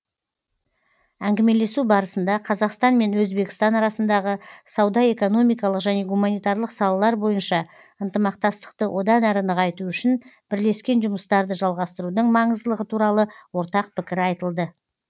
әңгімелесу барысында қазақстан мен өзбекстан арасындағы сауда экономикалық және гуманитарлық салалар бойынша ынтымақтастықты одан әрі нығайту үшін бірлескен жұмыстарды жалғастырудың маңыздылығы туралы ортақ пікір айтылды